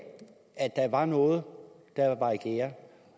at der var noget der var i gære